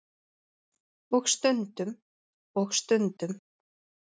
Og stundum. og stundum.